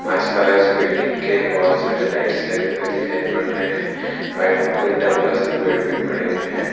आसपास बिल्डिंग के बहुत सारे लाइटस लगे हुए दिखाई पड़ रहे हैं आई होप कुछ डंबल सर्वे भी पड़े हुए हैं।